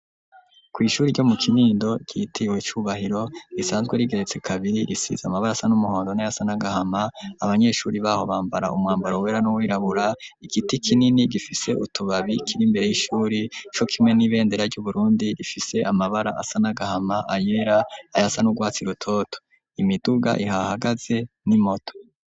Kw'ishuri ryo mu kinindo ryitiriwe icyubahiro. risanzwe rigeretse kabiri risize amabara asa n'umuhondo nayasa nagahama abanyeshuri baho bambara umwambaro wera n'uwirabura, igiti kinini gifise utubabi kiri mbere y'ishuri co kimwe n'ibendera ry'uburundi rifise amabara asa nagahama ayera ayasa n ugwatsi rutoto, imiduga ihahagaze n'imoto.